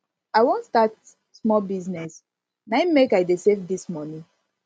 i wan start small business na im make i dey save dis moni